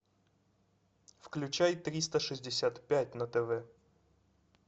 включай триста шестьдесят пять на тв